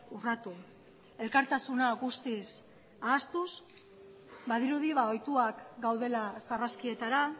urratu elkartasuna guztiz ahaztuz badirudi ohituak gaudela sarraskietara